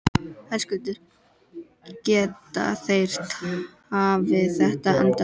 Höskuldur: Geta þeir tafið þetta endalaust?